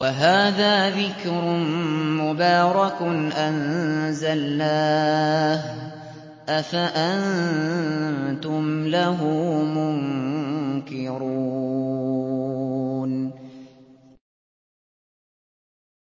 وَهَٰذَا ذِكْرٌ مُّبَارَكٌ أَنزَلْنَاهُ ۚ أَفَأَنتُمْ لَهُ مُنكِرُونَ